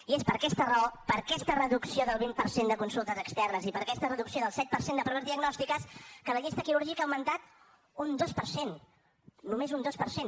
i és per aquesta raó per aquesta reducció del vint per cent de consultes externes i per aquesta reducció del set per cent de proves diagnòstiques que la llista quirúrgica ha augmentat un dos per cent només un dos per cent